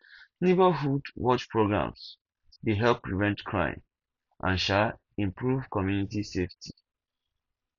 neighborhood watch programs dey help prevent crime and um improve community safety